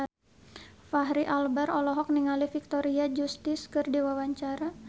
Fachri Albar olohok ningali Victoria Justice keur diwawancara